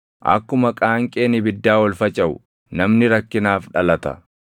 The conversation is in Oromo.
Akkuma qaanqeen ibiddaa ol facaʼu namni rakkinaaf dhalata.